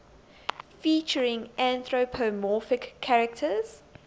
featuring anthropomorphic characters